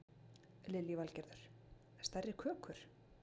Lillý Valgerður: Stærri kökur?